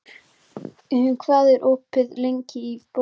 Gustav, hvað er opið lengi í Bónus?